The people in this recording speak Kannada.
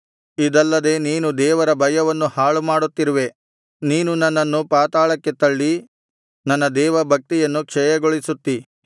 ಇದಲ್ಲದೆ ನೀನು ದೇವರ ಭಯವನ್ನು ಹಾಳುಮಾಡುತ್ತಿರುವೆ ನೀನು ನನ್ನನ್ನು ಪಾತಾಳಕ್ಕೆ ತಳ್ಳಿ ನನ್ನ ದೇವಭಕ್ತಿಯನ್ನು ಕ್ಷಯಗೊಳಿಸುತ್ತೀ